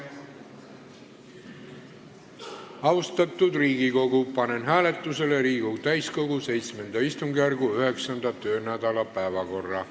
Austatud Riigikogu, panen hääletusele Riigikogu täiskogu VII istungjärgu 9. töönädala päevakorra.